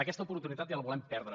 aquesta oportunitat ja la volem perdre